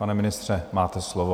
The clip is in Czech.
Pane ministře, máte slovo.